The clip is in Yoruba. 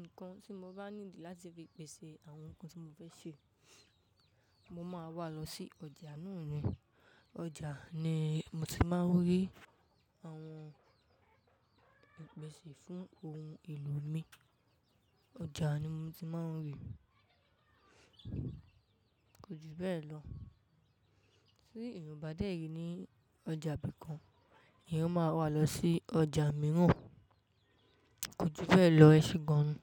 nǹkan tí mo bá ní láti fi pèsè àwọn nǹkan tí mo fẹ́ ṣe, mo máa wà á lọ sí ọjà náà ni. Ọjà ni mo ti máa ń rí àwọn ìpèsè fún ohun èlò mi. Ọjà ni mo ti máa ń rí. Kò jù bẹ́ẹ̀ lọ. Tí èrò bá dẹ́yì ní ọjà bí kan, ènìyán máa wà á lọ sí ọjà mìíràn. Kò jù bẹ́ẹ̀ lọ. Ẹ ṣe gan-an.